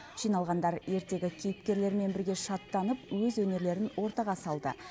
жиналғандар ертегі кейіпкерлерімен бірге шаттанып өз өнерлерін ортаға салды